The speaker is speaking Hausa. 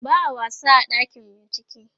ba'a wasa a ɗakin bincike